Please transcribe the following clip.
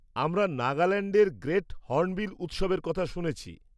আমরা নাগাল্যান্ডের great hornbill উৎসবের কথা শুনেছি।